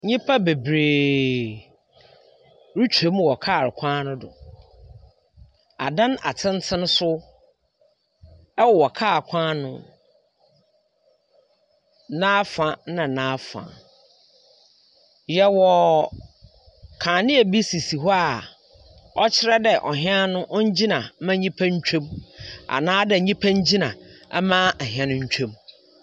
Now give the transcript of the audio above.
Nnipa bebree retwam wɔ kaa kwan no do. Adan atsentsen nso wɔ kaa kwan no n'afa na n'afa. Yɛwɔ kanea bi sisi hɔ a ɔkyerɛ dɛ hɛn no ɔngyina mma nnipa ntwam anaadɛ nnipa ngyina mma ahɛn no ntwam.